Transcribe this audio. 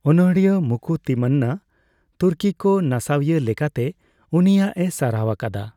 ᱚᱱᱚᱬᱦᱤᱭᱟᱹ ᱢᱩᱠᱩ ᱛᱤᱢᱢᱟᱱᱟ ᱛᱩᱨᱠᱤᱠᱚ ᱱᱟᱥᱟᱣᱤᱭᱟᱹ ᱞᱮᱠᱟᱛᱮ ᱩᱱᱤᱭᱟᱜᱼᱮ ᱥᱟᱨᱦᱟᱣ ᱟᱠᱟᱫᱟ ᱾